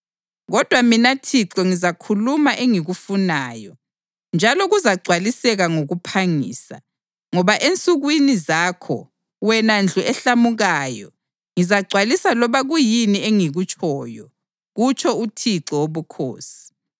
Kodwa mina Thixo ngizakhuluma engikufunayo, njalo kuzagcwaliseka ngokuphangisa. Ngoba ensukwini zakho, wena ndlu ehlamukayo ngizagcwalisa loba kuyini engikutshoyo, kutsho uThixo Wobukhosi.’ ”